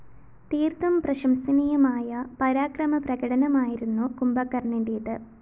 തീര്‍ത്തും പ്രശംസനീയമായ പരാക്രമ പ്രകടനമായിരുന്നു കുംഭകര്‍ണ്ണന്റേത്